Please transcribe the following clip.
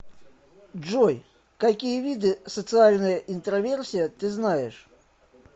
джой какие виды социальная интроверсия ты знаешь